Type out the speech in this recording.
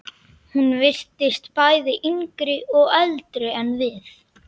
Gerir sér upp að vera léttur.